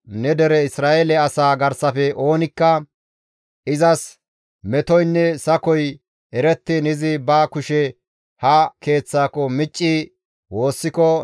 ne dere Isra7eele asaa garsafe oonikka izas metoynne sakoy erettiin izi ba kushe ha Keeththaako micci woossiko,